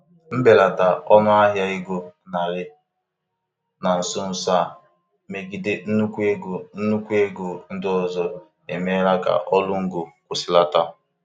Mbelata ọnụahịa ego naịra na nso nso a megide nnukwu ego nnukwu ego ndị ọzọ emeela ka ọrụ ngo kwụsịlata.